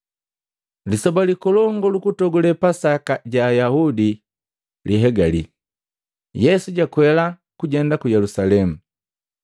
Lisoba likolongu lukutogule Pasaka ja Ayaudi lihegali, Yesu jakwela kujenda ku Yelusalemu.